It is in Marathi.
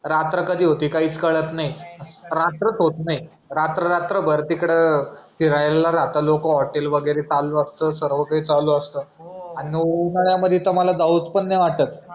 रात्र कधी होते ते कायीच काळात नाही रात्रच होत नाही रात्र रात्र भर तिकडं फिरायला राहतात लोक हॉटेल वगैरे चालूच असतात सर्र्व काही चालू असत आन उन्हाळ्यामध्ये तर मला जाऊच नाय वाटत